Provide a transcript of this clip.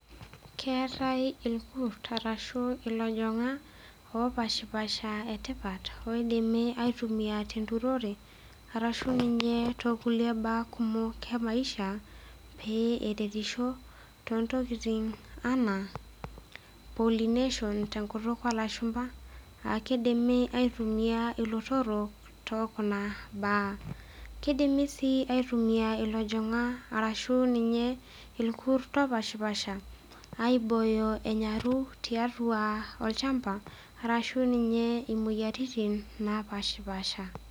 Keetae irkurt arashu elojing'ak opashipasha etipat oidimi aitumia tenturore arashu ninye tekulie mbaya kumok e maisha pee eretishoo toontokitin enaa pollination te nkutuk oo lashumba akidimi aitumia terutore oolotorok tekuna mbaa akidimi sii aitumia lojing'ak arashu ninye irkurt opashipasha aiboyo enanyaru tiatua shamba arashu ninye moyiaritin napashipasha